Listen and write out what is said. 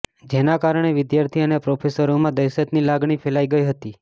જેના કારણે વિદ્યાર્થી અને પ્રોફેસરોમાં દહેશતની લાગણી ફેલાઈ ગઈ હતી